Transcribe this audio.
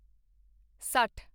ਸੱਠ